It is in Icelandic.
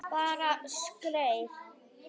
Ég bara skreið